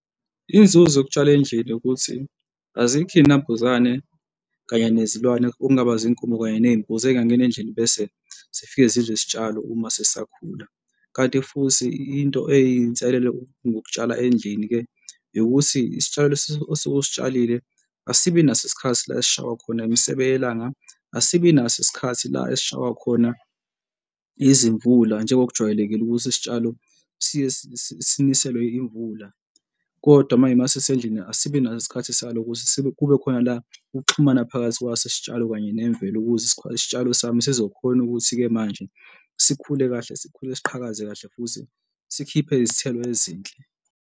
Inzuzo yokutshala endlini ukuthi azikho iy'nambuzane kanye nezilwane okungaba izinkomo kanye ney'mbuzi okungangena endlini, bese zifike zidle izitshalo uma zisakhula, kanti futhi into eyinselele ngokutshala endlini-ke ukuthi isitshalo osuke usitshalile asibi naso isikhathi la esishawa khona imisebe yelanga, asibi naso isikhathi la esishawa khona izimvula njengokujwayelekile ukuthi isitshalo siye siniselwe yimvula, kodwa manje uma sisendlini asibi naso isikhathi salo, ukuze sibe kubekhona la ukuxhumana phakathi kwaso, isitshalo kanye nemvelo ukuze isitshalo sami sizokhona ukuthi-ke manje sikhule kahle sikhule siqhakaze kahle futhi sikhiphe izithelo ezinhle.